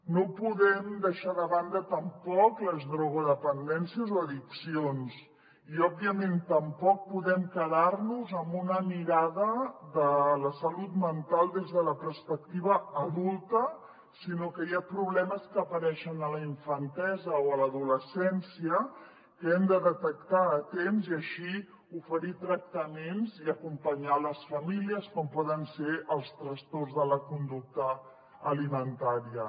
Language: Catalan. no podem deixar de banda tampoc les drogodependències o addiccions i òbviament tampoc podem quedar nos amb una mirada de la salut mental des de la perspectiva adulta sinó que hi ha problemes que apareixen a la infantesa o a l’adolescència que hem de detectar a temps i així oferir tractaments i acompanyar les famílies com poden ser els trastorns de la conducta alimentària